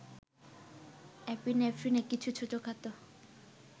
এপিনেফ্রিনে কিছু ছোটখাটো